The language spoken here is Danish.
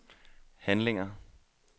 handlinger